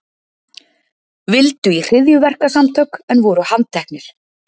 Vildu í hryðjuverkasamtök en voru handteknir